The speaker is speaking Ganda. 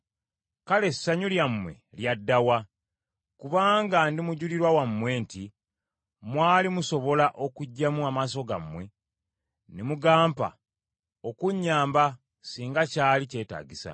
Kale essanyu lyammwe lyadda wa? Kubanga ndi mujulirwa wammwe nti, mwali musobola okuggyamu amaaso gammwe ne mugampa okunnyamba singa kyali kyetaagisa.